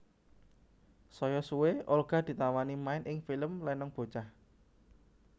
Saya suwe Olga ditawani main ing film Lenong Bocah